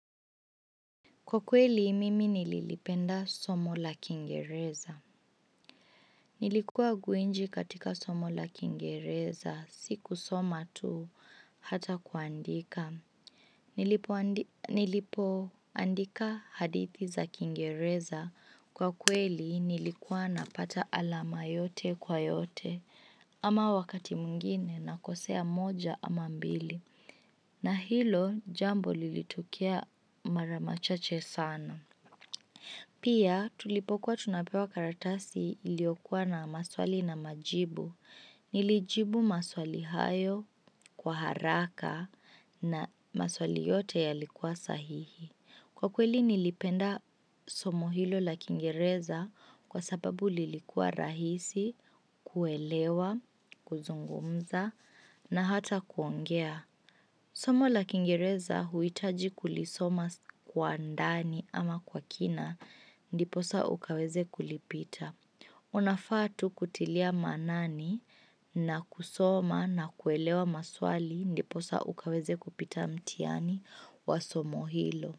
Kwa kweli, mimi nililipenda somo la kiingereza. Nilikuwa gwiji katika somo la kiingereza, sikusoma tu, hata kuandika. Nilipoandika hadithi za kiingereza. Kwa kweli, nilikuwa napata alama yote kwa yote, ama wakati mwingine nakosea moja ama mbili. Na hilo, jambo lilitukia mara machache sana. Pia tulipokuwa tunapewa karatasi iliyokuwa na maswali na majibu, nilijibu maswali hayo kwa haraka na maswali yote yalikuwa sahihi. Kwa kweli nilipenda somo hilo la kiingereza kwa sababu lilikuwa rahisi, kuelewa, kuzungumza na hata kuongea. Somo la kiingereza huhitaji kulisoma kwa ndani ama kwa kina ndiposa ukaweze kulipita. Unafaa tu kutilia maanani na kusoma na kuelewa maswali ndiposa ukaweze kupita mtihani wa somo hilo.